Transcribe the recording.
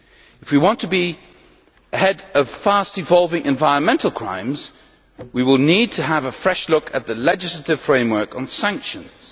If we want to be ahead of fast evolving environmental crimes, we will need to have a fresh look at the legislative framework on sanctions.